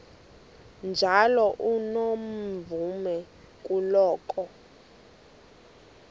njalo unomvume kuloko